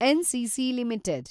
NCC limited